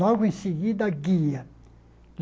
Logo em seguida, a guia.